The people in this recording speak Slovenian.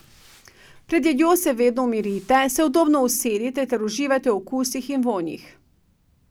Pred jedjo se vedno umirite, se udobno usedite ter uživajte v okusih in vonjih.